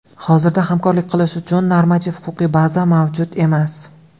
Hozirda hamkorlik qilish uchun normativ-huquqiy baza mavjud emas.